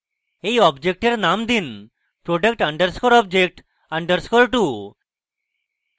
এই অবজেক্টের name দিন product _ object _ 2